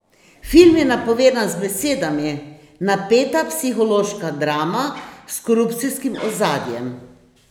Film je napovedan z besedami: "Napeta psihološka drama s korupcijskim ozadjem.